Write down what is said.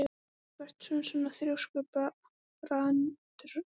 Af hverju ertu svona þrjóskur, Brandr?